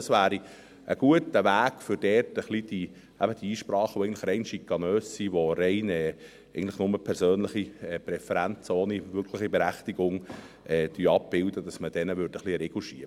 Dies wäre ein guter Weg, Einsprachen, welche rein schikanös sind, welche rein persönliche Präferenzen, ohne wirkliche Berechtigung, abbilden, einen Riegel vorzuschieben.